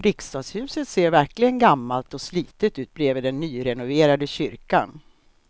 Riksdagshuset ser verkligen gammalt och slitet ut bredvid den nyrenoverade kyrkan.